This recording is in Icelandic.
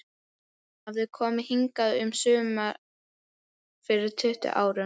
Hún hafði komið hingað um sumar fyrir tuttugu árum.